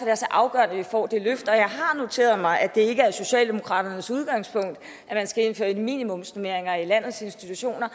er så afgørende at vi får det løft jeg har noteret mig at det ikke er socialdemokraternes udgangspunkt at man skal indføre minimumsnormeringer i landets institutioner